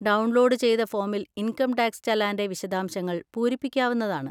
Download ചെയ്ത ഫോമിൽ income tax ചലാൻ്റെ വിശദശാംശങ്ങൾ പൂരിപ്പിക്കാവുന്നതാണ്.